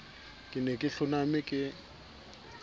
ke ne ke hloname ke